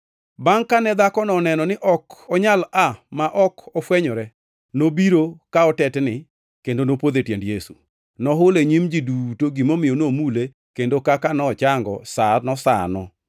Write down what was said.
Bangʼ kane dhakono oneno ni ok onyal aa ma ok ofwenyore, nobiro ka otetni kendo nopodho e tiend Yesu. Nohulo e nyim ji duto gimomiyo nomule kendo kaka nochango sano sano.